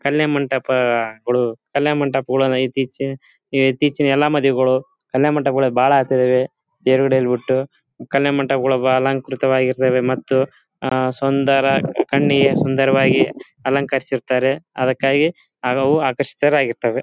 ಕಲ್ಯಾಣಮಂಟಪ ಗಳು ಕಲ್ಯಾಣಮಂಟಪ ಗಳು ಅಂದ್ರೆ ಇತ್ತೀಚೆಗೆ ಇತ್ತೀಚೆಗೆ ಎಲ್ಲಾ ಮದ್ವೆಗಳು ಕಲ್ಯಾಣಮಂಟಪ ಗಳಲ್ಲಿ ಬಹಳ ಆಸೆ ಇದಾವೆ ಬಿಟ್ಟು ಕಲ್ಯಾಣ್ ಮಂಟಪಗಳು ಅಲಂಕೃತ ವಾಗಿರುತ್ತ್ದೆ ಮತ್ತೆ ಸುಂದರ ಕಣ್ಣಿಗೆ ಸುಂದರವಾಗಿ ಅಲಂಕರಿಸುತ್ತಾರೆ ಅದಕ್ಕಾಗಿ ಅವು ಆಕರ್ಷಿತರಾಗಿರ್ತಾರೆ .